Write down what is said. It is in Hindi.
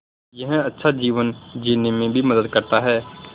यह अच्छा जीवन जीने में भी मदद करता है